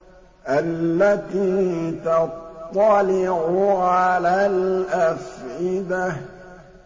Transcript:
الَّتِي تَطَّلِعُ عَلَى الْأَفْئِدَةِ